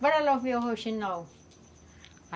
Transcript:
Bora lá ver o rouxinol.